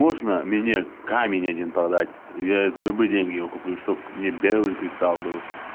можно менять камень один продать я за любые деньги его куплю чтобы мне белый кристалл был